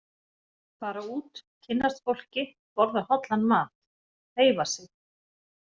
Fara út, kynnast fólki, borða hollan mat, hreyfa sig.